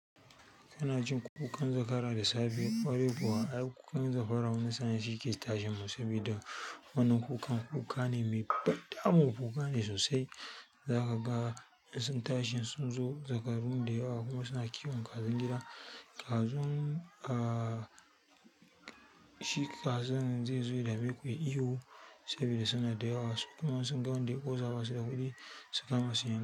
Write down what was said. Kana jin kukan zakara da safe, ƙwarai kuwa. Ai, kukan zakara wani sa'in shi ke tashin mun sabida. Wannan kukan kuka ne mai ban ɗamu. Kuka ne sosai. Zaka ga sun tashin sun zo zakaru da yawa kuma suna kiwon kajin gida. Kazun, ah, shi kazan zai zo ya da me ku ya yi ihu saboda suna da yawa. Kuma sun ga wanda ya ƙosa basu da kuɗi su kama su yan.